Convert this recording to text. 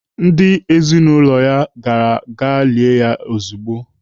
Ndị ezinaụlọ gara gaa lie ya ezigbo.